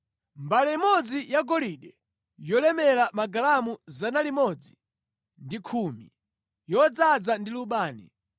Mbale imodzi yagolide yolemera magalamu 110, yodzaza ndi lubani;